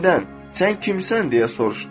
Məndən sən kimsən deyə soruşdu.